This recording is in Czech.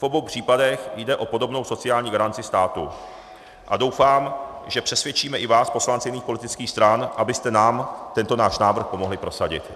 V obou případech jde o podobnou sociální garanci státu a doufám, že přesvědčíme i vás poslance jiných politických stran, abyste nám tento náš návrh pomohli prosadit.